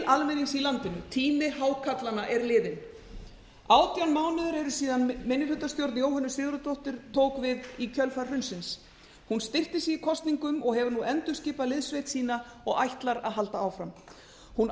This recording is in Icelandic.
almennings í landinu tími hákarlanna er liðinn átján mánuðir eru síðan minnihlutastjórn jóhönnu sigurðardóttur tók við í kjölfar hrunsins hún styrkti sig í kosningum og hefur nú endurskipað liðssveit sína og ætlar að halda áfram hún